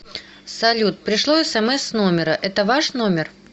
салют пришло смс с номера это ваш номер